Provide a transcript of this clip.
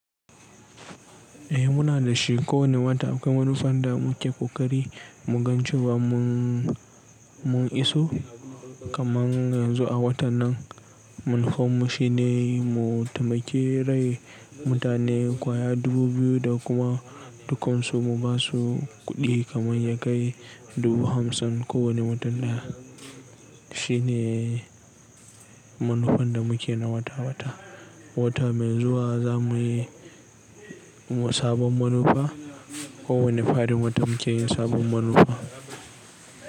Eh muna da shi kowane wata akwai manufan da muke koƙari mu ganci ba mu, mun iso kaman yanzu a watan nan. Mun koma shi ne mu taimake rai mutane kwaya dubu biyu da kuma dukansu mu basu kuɗi kaman ya kai dubu hamsin ko wane mutum ɗaya. Shi ne manufan da muke na wata-wata. Wata mai zuwa za muyi sabon manufa. Ko wane farin wata muke yi sabon manufa.